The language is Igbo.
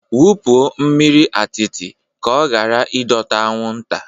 Wupụo mmiri atịtị ka ọ ghara ịdọta anwụnta